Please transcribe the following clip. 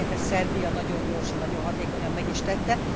Egyébként ezt Szerbia nagyon gyorsan, hatékonyan meg is tette.